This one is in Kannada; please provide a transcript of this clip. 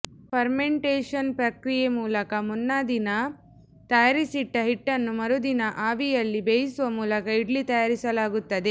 ಫರ್ಮಂಟೇಷನ್ ಪ್ರಕ್ರಿಯೆ ಮೂಲಕ ಮುನ್ನಾದಿನ ತಯಾರಿಸಿಟ್ಟ ಹಿಟ್ಟನ್ನು ಮರುದಿನ ಆವಿಯಲ್ಲಿ ಬೇಯಿಸುವ ಮೂಲಕ ಇಡ್ಲಿ ತಯಾರಿಸಲಾಗುತ್ತದೆ